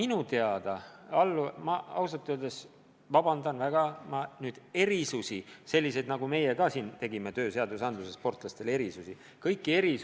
Nüüd, palun väga vabandust, aga selliseid erisusi, nagu me oleme tööseadustikus sportlastele teinud, ma Soomes ei tea.